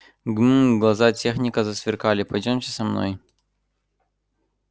гм-м глаза техника засверкали пойдёмте со мной